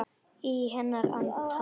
Í hennar anda.